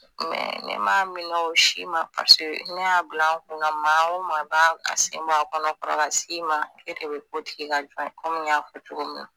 Mɛ ne ma minɛ o si ma paseke ne y'a bila n kunna maa o maa b'a se bɔ a kɔnɔ kɔrɔ ka s'i ma e de be ko tigi ka jɔn ye